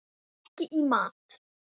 Ekki í mat.